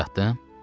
Sizi oyatdım?